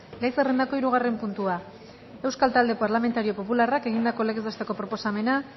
gai zerrendako hirugarren puntua euskal talde parlamentario popularrak egindako legez besteko proposamena